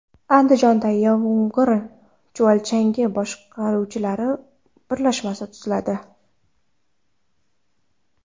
Andijonda yomg‘ir chuvalchangi boquvchilar birlashmasi tuziladi.